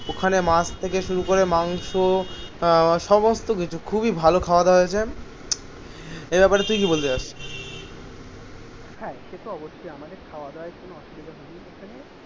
ওখানে মাছ থেকে শুরু করে মাংস আহ সমস্ত কিছু খুবই এই ব্যাপারে তুই কি বলবি